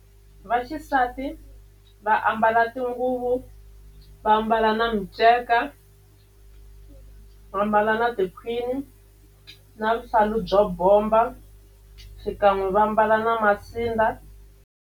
Vaxisati va ambala tinguvu va ambala na miceka va mbala na tikhwini na vuhlalu byo bomba xikan'we va mbala na masindza.